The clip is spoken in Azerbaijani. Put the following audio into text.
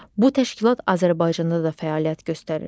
Bu təşkilat Azərbaycanda da fəaliyyət göstərir.